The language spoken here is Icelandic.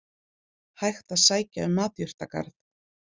Hægt að sækja um matjurtagarð